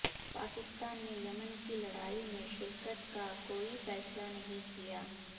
پاکستان نے یمن کی لڑائی میں شرکت کا کوئی فیصلہ نہیں کیا